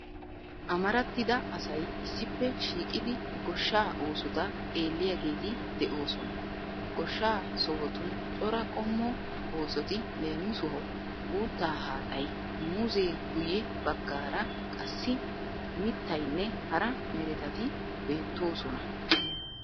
Amarattida asay issippe shiiqidi goshshaa oosota xeelliageeti de'oosona. Goshshaa sohotun cora qommo oosoti leemisuwawu uuttaa haaxayi, muuzzee guyye baggaara qassi mittayinne hara meretati beettoosona.